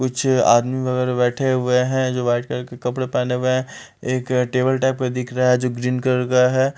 कुछ आदमी वगैरह बैठे हुए हैं जो वाइट कलर के कपड़े पहने हुए हैं एक टेबल टाइप का दिख रहा है जो ग्रीन कलर का है।